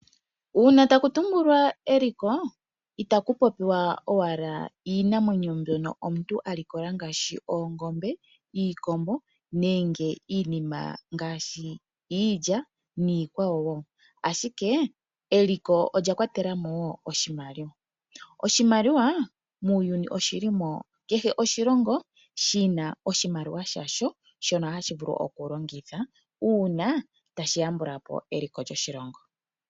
Uuna taku tumbulwa eliko itaku popi wa owala iinamwenyo mbyono omuntu a likola ngaashi ongombe, iikombo nenge iinima ngaashi iilya niikwawo wo, ashike eliko olya Kwatela mo wo oshimaliwa. Oshimaliwa muuyuni oshili mo kehe oshilongo shina oshimaliwa sha sho shono hashi vulu oku longitha uuna tashi ya mbula po eliko lyoshilongo.